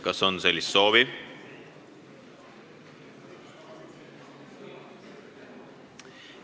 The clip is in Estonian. Kas selleks on soovi?